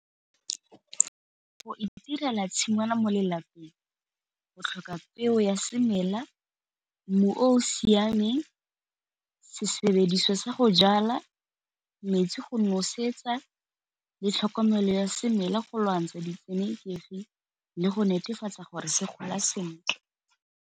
Go itirela tshingwana mo lelapeng go tlhoka peo ya semela, mmu o o siameng, se sebediswa sa go jala, metsi go nosetsa le tlhokomelo ya semela go lwantsha di tshenekegi le go netefatsa gore se gola sentle.